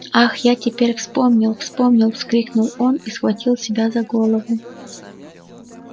ах я теперь вспомнил вспомнил вскрикнул он и схватил себя за голову